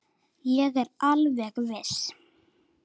Ég er alveg viss.